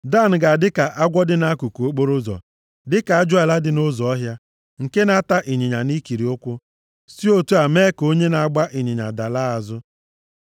Dan ga-adị ka agwọ dị nʼakụkụ okporoụzọ, dịka ajụala dị nʼụzọ ọhịa, nke na-ata ịnyịnya nʼikiri ụkwụ, si otu a mee ka onye na-agba ịnyịnya dalaa azụ.